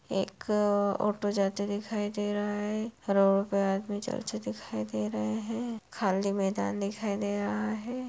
एक ऑटो जाते दिखाई दे रहा है रोड पर आदमी चलते दिखाई दे रहे हैं खाली मैदान दिखाई दे रहा है।